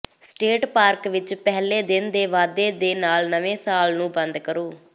state park ਵਿਚ ਪਹਿਲੇ ਦਿਨ ਦੇ ਵਾਧੇ ਦੇ ਨਾਲ ਨਵੇਂ ਸਾਲ ਨੂੰ ਬੰਦ ਕਰੋ